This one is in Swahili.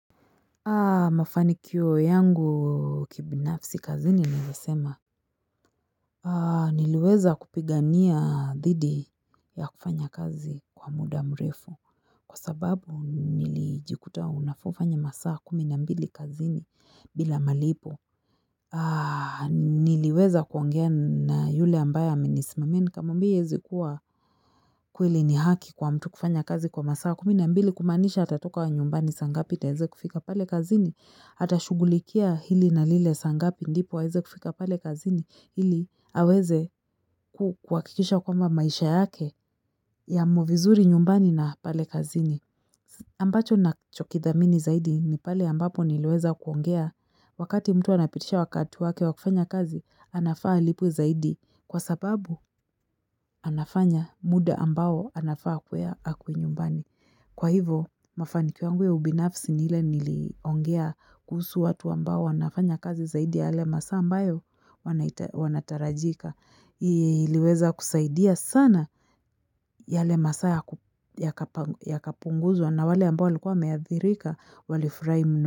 Mafanikio yangu kibinafsi kazini nilvyoesema. Niliweza kupigania dhidi ya kufanya kazi kwa muda mrefu. Kwa sababu nilijikuta unafaufanye masaa kuminambili kazini bila malipo. Niliweza kuongea na yule ambaye amenisimamia nikamwambia haiezi kuwa kweli ni haki kwa mtu kufanya kazi kwa masaa kuminambili kumanisha atatoka wa nyumbani sangapi ndo aeze kufika pale kazini. Ata shughulikia hili na lile sangapi ndipo aeze kufika pale kazini ili aweze kuwakikisha kwamba maisha yake yamo vizuri nyumbani na pale kazini. Ambacho nachokidhamini zaidi ni pale ambapo niliweza kuongea wakati mtu anapitisha wakati wake wakufanya kazi anafaa alipwe zaidi kwa sababu anafanya muda ambao anafaa akuwe akwe nyumbani. Kwa hivo, mafanikio yangu ya ubinafsi ni ile niliongea kuhusu watu ambao wanafanya kazi zaidi ya yale masaa ambayo wanatarajika. Niliweza kusaidia sana yale masaa yakapunguzwa na wale ambao walikuwa wameathirika, wali furahi muno.